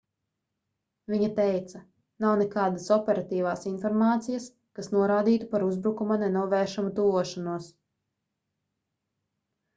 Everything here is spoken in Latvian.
viņa teica nav nekādas operatīvās informācijas kas norādītu par uzbrukuma nenovēršamu tuvošanos